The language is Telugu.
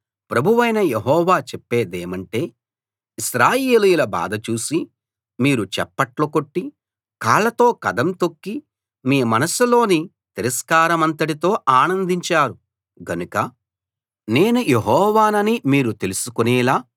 ప్రభువైన యెహోవా చెప్పేదేమంటే ఇశ్రాయేలీయుల బాధ చూసి మీరు చప్పట్లు కొట్టి కాళ్లతో కదం తొక్కి మీ మనస్సులోని తిరస్కారమంతటితో ఆనందించారు గనుక నేను యెహోవానని మీరు తెలుసుకునేలా